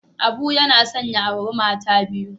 Abu yana son ya auri mata biyu.